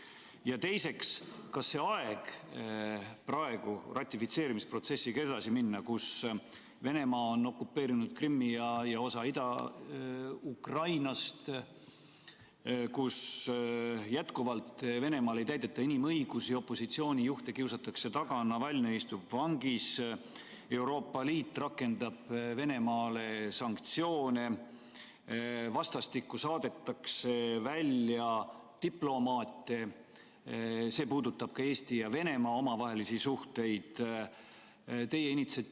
Ja teiseks, kas praegune aeg, kus Venemaa on okupeerinud Krimmi ja osa Ida-Ukrainast, kus jätkuvalt Venemaal ei ole tagatud inimõigused, opositsiooni juhte kiusatakse taga, Navalnõi istub vangis, Euroopa Liit rakendab Venemaa vastu sanktsioone, vastastikku saadetakse välja diplomaate ja see puudutab ka Eesti ja Venemaa omavahelisi suhteid, on sobiv ratifitseerimisprotsessiga edasi minekuks?